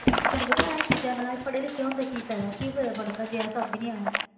ਤੈਨੂੰ ਪਤਾ ਇਹ ਚੀਜ਼ਾਂ ਨਾ ਆਣ ਕਿ ਫਾਇਦਾ ਪੜਨ ਦਾ